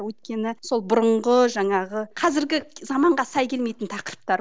өйткені сол бұрынғы жаңағы қазіргі заманға сай келмейтін тақырыптар